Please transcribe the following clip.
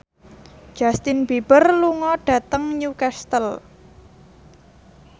Justin Beiber lunga dhateng Newcastle